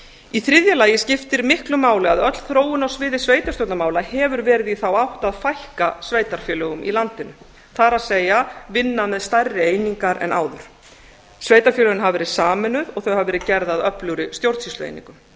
í þriðja lagi skiptir miklu máli að öll þróun á sviði sveitarstjórnarmála hefur verið í þá átt að fækka sveitarfélögum í landinu það er vinna með stærri einingar en áður sveitarfélögin hafa verið sameinuð og þau hafa verið gerð að öflugri stjórnsýslueiningum